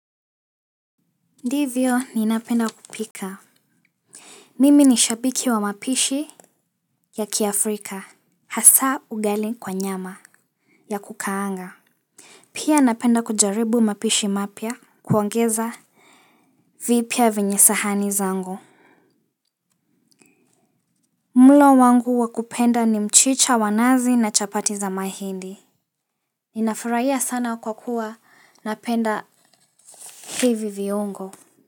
Ndivyo ninapenda kupika mimi ni shabiki wa mapishi ya kiafrika hasa ugali kwa nyama ya kukaanga pia napenda kujaribu mapishi mapya kuongeza vipya venye sahani zangu mlo wangu wakupenda ni mchicha wa nazi na chapati za mahindi nina furahia sana kwa kuwa napenda hivi viungo.